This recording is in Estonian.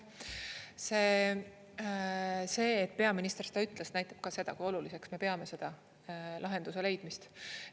See, et peaminister seda ütles, näitab ka seda, kui oluliseks me peame seda lahenduse leidmist.